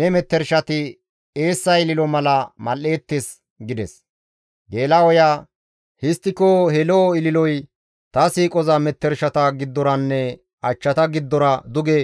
Ne metershati eessa ililo mala mal7eettes» gides. Geela7oya «Histtiko he lo7o ililoy ta siiqoza metershata giddoranne achchata giddora duge